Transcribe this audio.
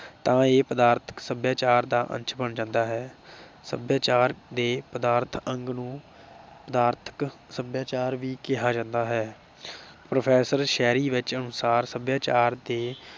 ਤਾਂ ਇਹ ਪਦਾਰਥਕ ਸਭਿਆਚਾਰ ਦਾ ਅੰਸ਼ ਬਣ ਜਾਂਦਾ ਹੈ। ਸਭਿਆਚਾਰ ਦੇ ਪਦਾਰਥ ਅੰਗ ਨੂੰ ਪਦਾਰਥਕ ਸਭਿਆਚਾਰ ਵੀ ਕਿਹਾ ਜਾਂਦਾ ਹੈ। professor sherry which ਅਨੁਸਾਰ ਸਭਿਆਚਾਰ ਦੇ